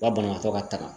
U ka banabaatɔ ka tagama